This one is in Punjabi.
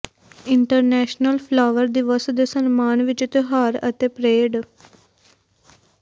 ਇੰਟਰਨੈਸ਼ਨਲ ਫਲਾਵਰ ਦਿਵਸ ਦੇ ਸਨਮਾਨ ਵਿਚ ਤਿਓਹਾਰ ਅਤੇ ਪਰੇਡ